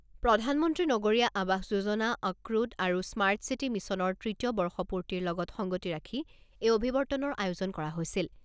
প্ৰধানমন্ত্ৰী নগৰীয়া আৱাস যোজনা, অক্ৰুত আৰু স্মাৰ্ট চিটি মিছনৰ তৃতীয় বৰ্ষপূৰ্তিৰ লগত সংগতি ৰাখি এই অভিৱৰ্তনৰ আয়োজন কৰা হৈছিল।